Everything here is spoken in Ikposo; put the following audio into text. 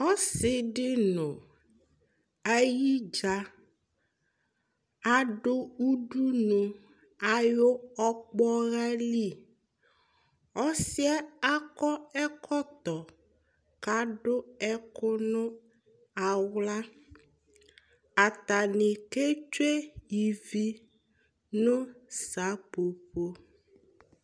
ɔsi di no ayidza adu udunu ayi ɔkpɔha li ɔsi yɛ akɔ ɛkɔtɔ k'adu ɛkò no ala atani ke tsue ivi no seƒoƒo